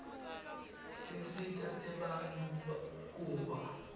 tinsita tebantfu kuba